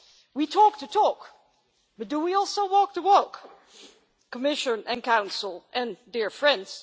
We talk the talk, but do we also walk the walk, Commission, Council and dear friends?